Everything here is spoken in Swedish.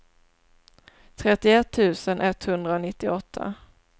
trettioett tusen etthundranittioåtta